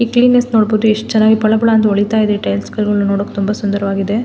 ಈ ಕಡೆ ನೋಡಬಹುದು ಯೇಟ್ ಚೆನ್ನಾಗಿ ಪಳ ಪಳ ಅಂತ ಹೊಳಿತಾ ಇದೆ ಟೈಲಸಗಳು ನೋಡೋಕೆ ತುಂಬಾ ಸುಂದರವಾಗಿದೆ.